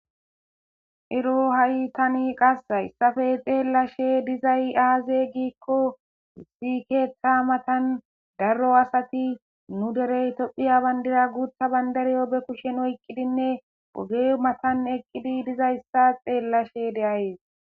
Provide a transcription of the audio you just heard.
iro ha7i tani qas hayssafe xeellashe dizay aaze giikko issi keeththa matan darro asati nu derey tophiya bandira guutha bandariyo be kushen oykqidinne ooge matan eqqidi dizayssa xeellashe deayees